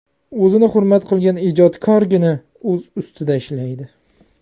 O‘zini hurmat qilgan ijodkorgina o‘z ustida ishlaydi.